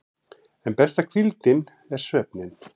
En besta hvíldin er svefninn.